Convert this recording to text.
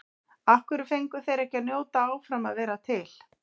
Af hverju fengu þeir ekki að njóta áfram að vera til?